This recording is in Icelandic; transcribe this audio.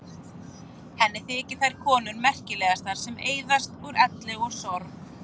Henni þykja þær konur merkilegastar sem eyðast úr elli og sorg.